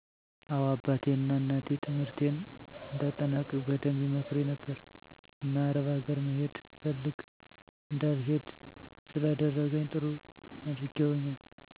አዎ አባቴ ና እናቴ ትምህርትን እንድአጠናቅቅ በደንብ ይመክሩኝ ነበር። እና አረብ አገር መሄድ ፈልግ እንዳልሄድ ስላደረኝ ጥሩ አድርገውልኛል።